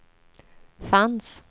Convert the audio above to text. fanns